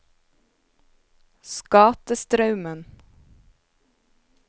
Skatestraumen